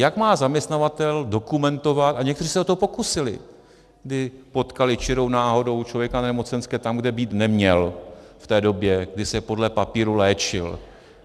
Jak má zaměstnavatel dokumentovat, a někteří se o to pokusili, když potkali čirou náhodou člověka na nemocenské tam, kde být neměl v té době, kdy se podle papíru léčil.